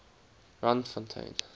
randfontein